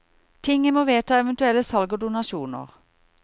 Tinget må vedta eventuelle salg og donasjoner.